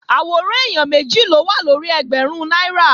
Àwòrán èèyàn méjì ló wà lórí ẹgbẹ̀rún náírà